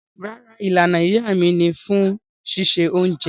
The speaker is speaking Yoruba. Rárá, Ìlànà iyá mi ni fún sísẹ ọ̀unjẹ